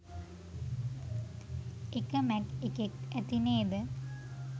එක මැක් එකෙත් ඇති නේද?